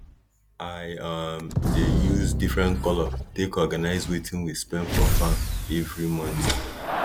i um dey use different colour take organize wetin we spend for farm everi month